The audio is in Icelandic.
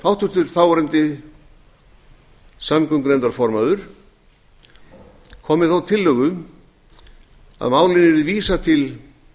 háttvirtur þáverandi samgöngunefndarformaður kom með þá tillögu að málinu yrði vísað til